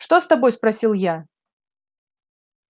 что с тобой спросил я